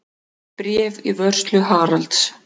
Bréf í vörslu Haralds.